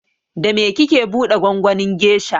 Da me kike buɗe gwangwanin gesha?